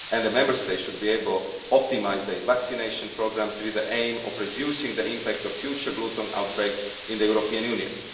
Member States should be able to optimise their vaccination programmes with the aim of reducing the impact of future bluetongue outbreaks in the European Union.